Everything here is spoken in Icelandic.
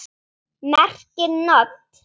merkir NOT.